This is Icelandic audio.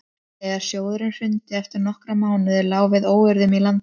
þegar sjóðurinn hrundi eftir nokkra mánuði lá við óeirðum í landinu